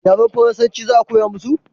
yaren faransanci za ka koya musu?